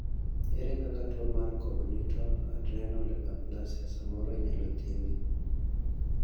ere kaka tuo mar congenital adrenal hyperplasia samoro inyalo thiedhi?